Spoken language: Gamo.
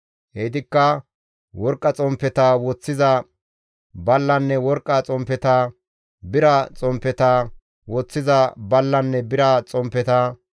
Heytikka worqqa xomppeta woththiza ballanne worqqa xomppeta, bira xomppeta woththiza ballanne bira xomppeta,